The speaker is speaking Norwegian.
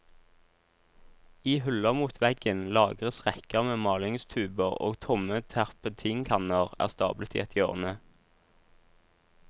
I hyller mot veggen lagres rekker med malingstuber og tomme terpentinkanner er stablet i et hjørne.